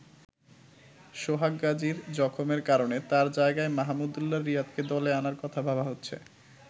সোহাগ গাজির জখমের কারণে তার জায়গায় মাহমুদউল্লাহ রিয়াদকে দলে আনার কথা ভাবা হচ্ছে।